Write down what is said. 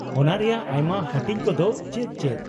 -ᱚᱱᱟ ᱨᱮᱭᱟᱜ ᱟᱭᱢᱟ ᱦᱟᱹᱴᱤᱧ ᱠᱚᱫᱚ ᱪᱮᱫ ᱪᱮᱫ ?